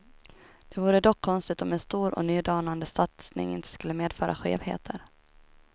Det vore dock konstigt om en stor och nydanande satsning inte skulle medföra skevheter.